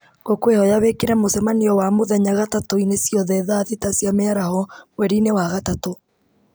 ngũkwĩhoya wĩkĩre mũcemanio wa mũthenya gatatũ -inĩ ciothe thaa thita cia mĩaraho mweri-inĩ wa gatatũ